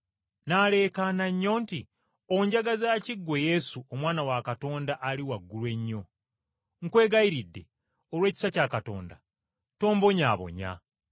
N’aleekaana nnyo nti, “Onjagaza ki, ggwe Yesu, Omwana wa Katonda, Ali Waggulu Ennyo? Nkwegayirira, olw’ekisa kya Katonda, tombonyaabonya.”